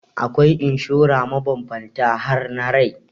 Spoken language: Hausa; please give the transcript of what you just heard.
Akwai inshora mabambanta har na rai.